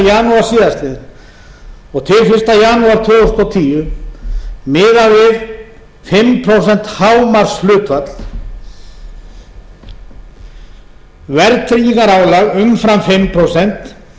janúar tvö þúsund og níu til fyrsta janúar tvö þúsund og tíu miða við fimm prósent hámarkshlutfall verðtryggingarálag umfram fimm prósent